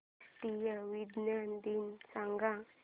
राष्ट्रीय विज्ञान दिन सांगा